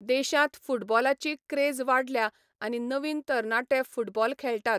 देशांत फुटबॉलाची क्रेज वाडल्या आनी नवीन तरणाटे फुटबॉल खेळटात.